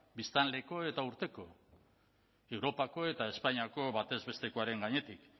biztanleko eta urteko europako eta espainiako batez bestekoaren gainetik